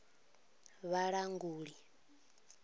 vhulanguli